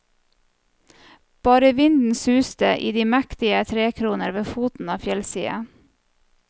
Bare vinden suste i de mektige trekroner ved foten av fjellsiden.